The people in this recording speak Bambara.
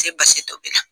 Se basi tobi la